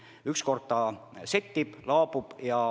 Viimaks kõik settib, laabub.